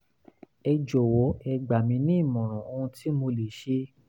ẹ jọ̀wọ́ ẹ gbà mí ní ìmọ̀ràn ohun tí mo lè ṣe